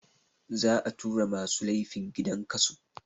Za a tura masu laifin gidan kaso